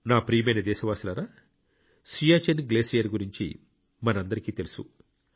నా ప్రియమైన దేశవాసులారా సియాచిన్ గ్లేషియర్ గురించి మనందరికీ తెలుసు